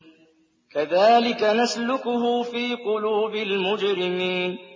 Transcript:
كَذَٰلِكَ نَسْلُكُهُ فِي قُلُوبِ الْمُجْرِمِينَ